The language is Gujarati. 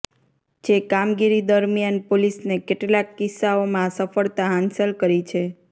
જે કામગીરી દરમ્યાન પોલીસને કેટલાંક કિસ્સાઓમાં સફળતા હાંસલ કરી છે